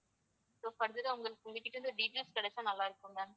so further ஆ உங்க~ உங்ககிட்ட இருந்து details கிடைச்சா நல்லா இருக்குங்க